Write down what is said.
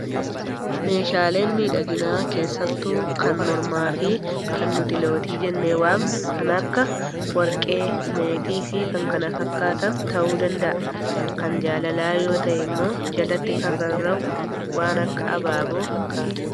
Meeshaaleen miidhaginaa keessattuu kan mormaa fi kan nuti lootii jennee waamnu kan akka warqee, meetii fi kanneen kana fakkaatan ta'uu danda'a. Kan jaalalaa yoo ta'e immoo jalatti kan rarra'u waan akka abaaboo fakkaata.